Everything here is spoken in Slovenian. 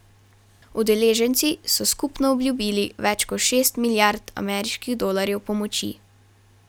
Udeleženci so skupno obljubili več kot šest milijard ameriških dolarjev pomoči.